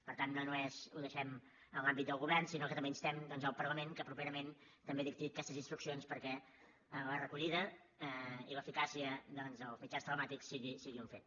per tant no només ho deixem en l’àmbit del govern sinó que també instem doncs el parlament que properament també dicti aquestes instruccions perquè la recollida i l’eficàcia doncs dels mitjans telemàtics siguin un fet